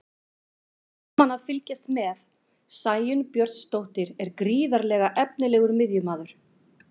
Gaman að fylgjast með: Sæunn Björnsdóttir er gríðarlega efnilegur miðjumaður.